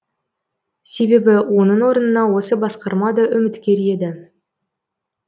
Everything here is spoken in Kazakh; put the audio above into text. себебі оның орнына осы басқарма да үміткер еді